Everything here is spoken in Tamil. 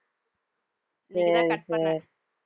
சரி சரி